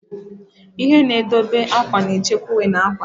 Ihe na-edobe akwa na-echekwa uwe na ngwa.